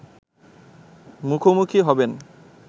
মুখোমুখি হবেন